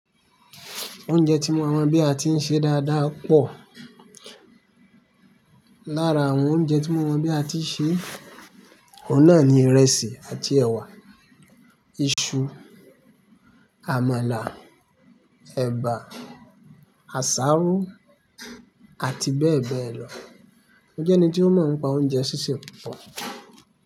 Oúnjẹ tí mo mọ̀ bí a ti ń ṣe dáadáa pọ̀. Lára àwọn oúnjẹ tí mo mọ̀ bí a ti ń ṣe, òhun náà ni ìrẹsì àti ẹ̀wà, iṣu, àmàlà, ẹ̀bà, àsáró àti bẹ́ẹ̀ bẹ́ẹ̀ lọ. Mo jẹ́ ẹni tí ó mọ̀ ń pa oúnjẹ sísè púpọ̀